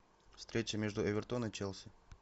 встреча между эвертон и челси